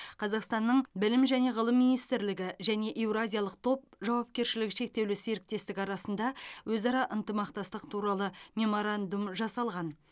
қазақстанның білім және ғылым министрлігі және еуразиялық топ жауапкершілігі шектеулі серіктестігі арасында өзара ынтымақтастық туралы меморандум жасалған